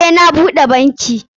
Eh, na bude banki.